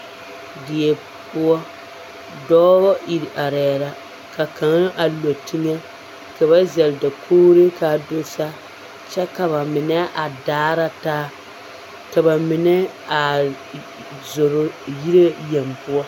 Die poɔ, dɔɔ iri arɛɛ la ka kaŋa a le teŋɛ ka ba zɛŋ dakogiro k'a do saa kyɛ ka bamine a daara taa ka bamine a zoro yire yeŋ poɔ.